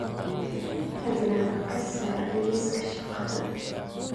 fadlan ka saar liiska shaqada